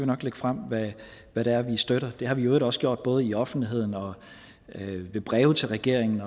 nok lægge frem hvad det er vi støtter det har vi i øvrigt også gjort både i offentligheden og i breve til regeringen